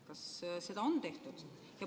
Kas seda on tehtud?